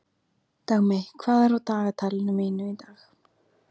Dagmey, hvað er á dagatalinu mínu í dag?